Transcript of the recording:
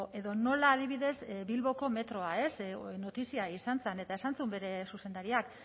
edo nola adibidez bilboko metroa ez notizia izan zen eta esan zuen bere zuzendariak